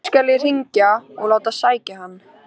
Nú skal ég hringja og láta sækja hann.